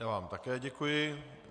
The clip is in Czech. Já vám také děkuji.